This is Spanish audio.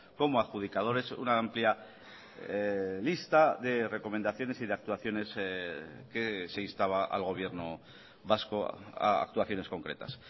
como adjudicadores una amplia lista de recomendaciones y de actuaciones que se instaba al gobierno vasco a actuaciones concretas